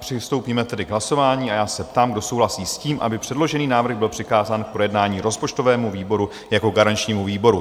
Přistoupíme tedy k hlasování a já se ptám, kdo souhlasí s tím, aby předložený návrh byl přikázán k projednání rozpočtovému výboru jako garančnímu výboru?